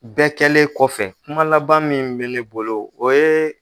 Bɛɛ kɛlen kɔfɛ kuma laban min bɛ ne bolo o ye